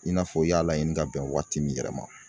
I n'a fɔ i y'a laɲini ka bɛn waati min yɛrɛ ma